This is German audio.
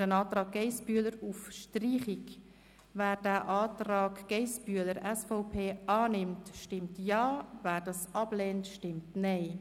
Wer diesen Antrag annimmt, stimmt Ja, wer diesen ablehnt, stimmt Nein.